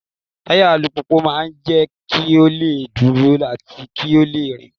Táyà alùpùpù máa ń jẹ́ kí ó lè dúró àti kí ó lè rìn.